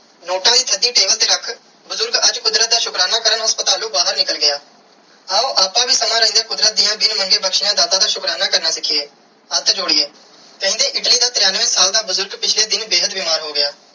Note ਦੀ ਤੁਹਾਡੀ ਦਿਲ ਤੇ ਰੱਖ ਬੁਜ਼ਰਗ ਅੱਜ ਕੁਦਰਤ ਦਾ ਸ਼ੁਕਰਾਨਾ ਕਾਰਨ ਹਾਸਪਤਲੁ ਬਾਹਿਰ ਨਿਕਲ ਗਿਆ ਆਓ ਆਪ ਵੀ ਸਮਾਂ ਰੇਂਦਿਆ ਕੁਦਰਤ ਦੀਆ ਬਿਨ ਮੰਗੇ ਬਖਸ਼ਿਆ ਦਾਤ ਦਾ ਸ਼ੁਕਰਾਨਾ ਕਰਨਾ ਸਿਖੀਏ ਹੱਥ ਜੋੜੀਏ ਕੇਂਦੀ ਇਟਲੀ ਦਾ ਤ੍ਰਿਣਵੇ ਸਾਲ ਦਾ ਬੁਜ਼ਰਗ ਪਿਛਲੇ ਦਿਨ ਬੇਹੱਦ ਬਿਮਾਰ ਸੀ.